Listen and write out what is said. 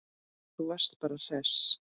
Þú varst bara hress.